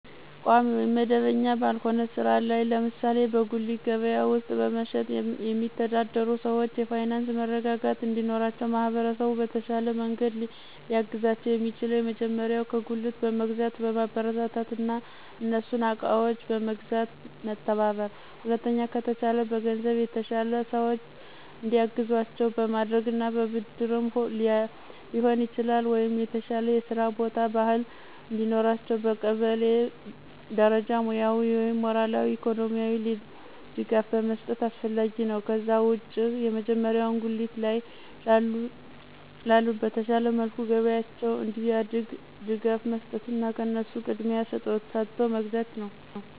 ቋሚ ወይም መደበኛ ባልሆነ ሥራ ላይ ለምሳሌ በጉሊት ገበያ ውስጥ በመሸጥ የሚተዳደሩ ሰዎች የፋይናንስ መረጋጋት እንዲኖራቸው ማህበረሰቡ በተሻለ መንገድ ሊያግዛቸው የሚችለው የመጀመሪያው ከጉልት በመግዛት ማበረታታትና እነሱን እቃዎችን በመግዛት መተባበር። ሁለተኛ ከተቻለ በገንዘብ የተሻሉ ሰዎች እንዲያግዟቸው በማድረግና በብድርም ሊሆን ይችላል ወይ የተሻለ የስራ ቦታ፣ ባህል እንዲኖራቸው በቀበሌ ደረጃ ሙያዊ ወይም ሞራላዊ፣ ኢኮኖሚካሊ ድጋፍ መስጠት አስፈላጊ ነው። ከዛ ውጭ የመጀመሪያው ጉሊት ላይ ላሉት በተሻለ መልኩ ገበያቸው እንዲያድግ ድጋፍ መስጠትና ከነሱ ቅድሚያ ሰጦ መግዛት ነው።